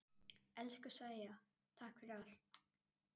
Elsku Sæja, takk fyrir allt.